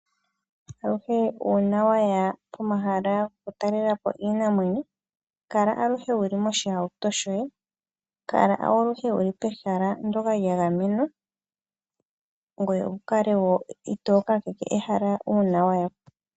Aluhe uuna waya pomahala gokutalelapo iinamwenyo kala aluhevwuli moshihauto shoye, kala aluhe wuli pehala lyoka lyagamenwa ngoye wukale wo itookakeke ehala uuna wayapo.